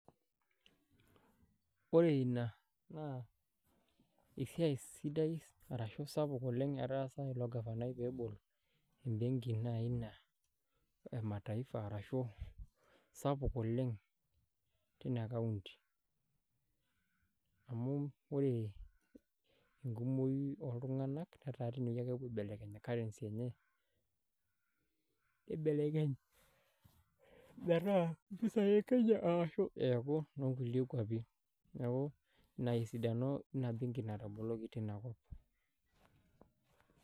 Ore ina naa, esiai sidai arashu sapuk oleng etaasa ilo gavanai pebol ebenki nai naa emataifa arashu sapuk oleng tina kaunti. Amu ore enkumoyu oltung'anak netaa tinewoi ake epuo aibelekeny currency enye, nibelekeny metaa mpisai e Kenya arashu eeku nonkulie kwapi. Neeku ina esidano ina benki nataboloki tinakop.